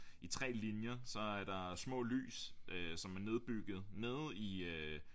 I 3 linjer så er der små lys som er nedbygget nede i øh